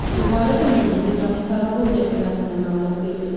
Bu barədə Milli Hidrometeorologiya Xidmətinə məlumat verilib.